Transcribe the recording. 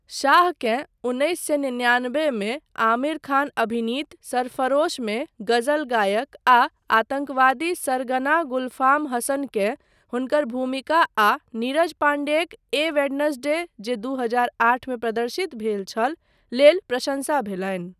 शाहकेँ उन्नैस सए निन्यानबे मे आमिर खान अभिनीत सरफरोशमे गजल गायक आ आतङ्कवादी सरगना गुलफाम हसन के हुनकर भूमिका आ नीरज पाण्डेक 'ए वेडनेस्डे' जे दू हजार आठ मे प्रदर्शित भेल छल, लेल प्रशंसा भेलनि।